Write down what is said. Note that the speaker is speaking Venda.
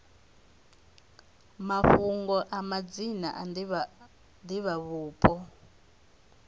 mafhungo a madzina a divhavhupo